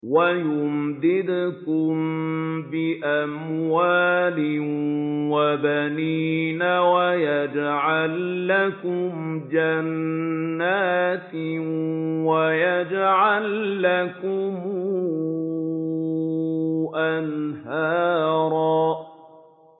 وَيُمْدِدْكُم بِأَمْوَالٍ وَبَنِينَ وَيَجْعَل لَّكُمْ جَنَّاتٍ وَيَجْعَل لَّكُمْ أَنْهَارًا